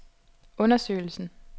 undersøgelsen